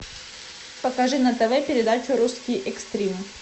покажи на тв передачу русский экстрим